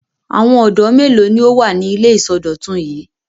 Àwọn ọ̀dọ́ mélòó ni ó wà ní ilé ìsọdọ̀tun yìí?